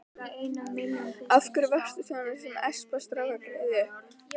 Af hverju varstu svo sem að espa strákgreyið upp?